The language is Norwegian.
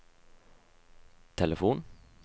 telefon